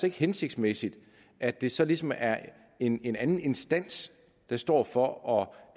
ikke hensigtsmæssigt at det så ligesom er en anden instans der står for at